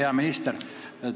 Hea minister!